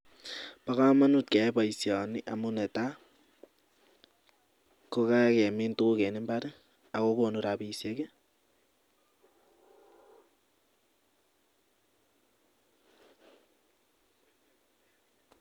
Ba kamanut keyai baishoni amun netai kokakimin tuguk en imbar akokonu rabishek